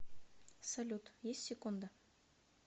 салют есть секунда